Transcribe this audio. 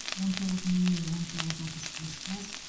он тоғыз нөл нөл он тоғыз отыз кешкі ас